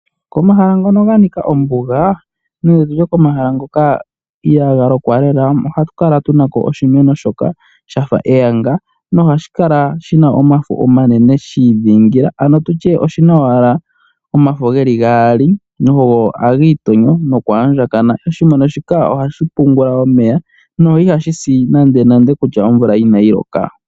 Komahala ngono ga nika ombuga nenge komahala ngoka ihaga lokwa lela ohatu kala tunako oshimeno shoka shafa eyanga nohashi kala shina omafo omanene shi dhingila ano oshina owala omafo geli gaali nogo hagi tonyo noku andjakana. Oshimeno shika ohashi pungula omeya no ihashi si nande nande kutya omvula inayi loka.